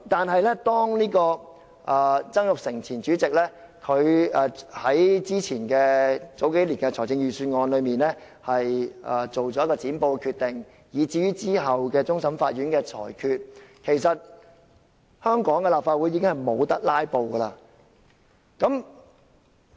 可是，自前主席曾鈺成數年前在財政預算案辯論中作出"剪布"的決定，以至其後終審法院作出的裁決，其實香港的立法會已經無法"拉布"。